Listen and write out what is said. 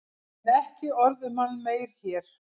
En ekki orð um hann meir hér.